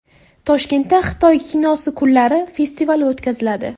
Toshkentda Xitoy kinosi kunlari festivali o‘tkaziladi.